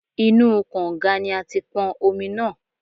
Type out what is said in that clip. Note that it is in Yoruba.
Inú u kọ̀ǹga ni a ti pọn omi náà.